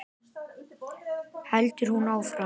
heldur hún áfram.